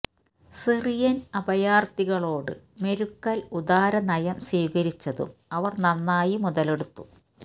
Syrian അഭയാര്ഥികളോട് Merkel ഉദാര നയം സ്വീകരിച്ചതും അവര് നന്നായി മുതലെടുത്തു